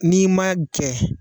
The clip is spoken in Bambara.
N'i ma kɛ.